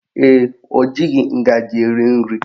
Ee, o jighị ngaji eri nri